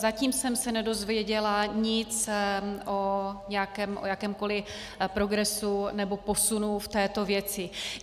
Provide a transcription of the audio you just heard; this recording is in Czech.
Zatím jsem se nedozvěděla nic o jakémkoli progresu nebo posunu v této věci.